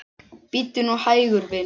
Bíddu nú hægur, vinur.